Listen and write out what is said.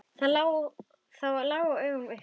Það lá í augum uppi.